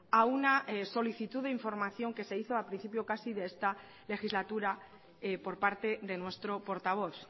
a una solicitud de información que se hizo a principio casi de esta legislatura por parte de nuestro portavoz